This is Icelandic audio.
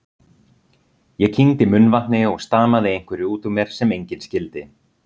Ég kyngdi munnvatni og stamaði einhverju útúr mér sem enginn skildi.